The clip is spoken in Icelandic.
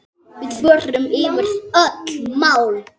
Við förum yfir öll mál.